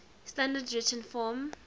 standard written form